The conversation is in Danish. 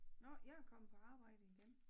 Nåh jeg er kommet på arbejde igen